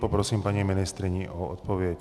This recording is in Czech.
Poprosím paní ministryni o odpověď.